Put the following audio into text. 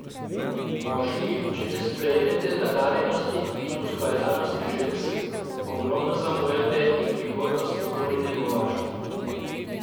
Moški, če ne sprejmete nadarjenosti in ustvarjalnosti žensk, ogromno zamujate in prihodnost nikoli ne bo vaša.